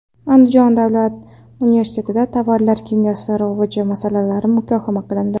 Andijon davlat universitetida tovarlar kimyosi rivoji masalalari muhokama qilindi.